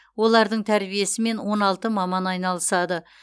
олардың тәрбиесімен он алты маман айналысады